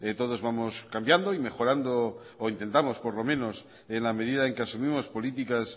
todos vamos cambiando y mejorando o intentamos por lo menos en la medida en que asumimos políticas